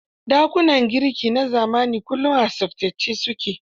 Dakunan girki na zamani kullum a tsaftace su ke.